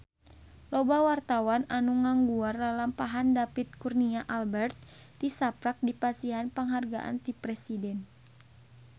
Loba wartawan anu ngaguar lalampahan David Kurnia Albert tisaprak dipasihan panghargaan ti Presiden